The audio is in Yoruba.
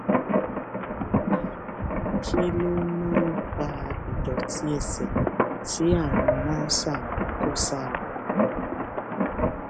um kí ló máa ń fa ìdòtí ẹsè tí àrùn mrsa ń kó sí ara